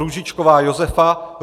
Růžičková Josefa